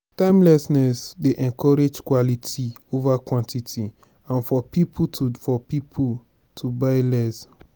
timelessness dey encourage quality over quantity and for pipo to for pipo to buy less